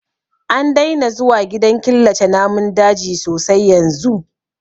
An daina zuwa gidan killace namun daji sosai yanzu